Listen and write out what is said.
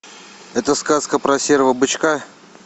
это сказка про серого бычка